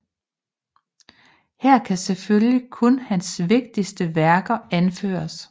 Her kan selvfølgelig kun hans vigtigste værker anføres